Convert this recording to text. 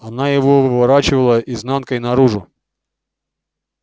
она его выворачивала изнанкой наружу